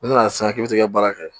U nana sisan k'i bɛ se ka baara kɛ